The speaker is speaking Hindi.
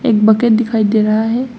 एक बकेट दिखाई दे रहा है।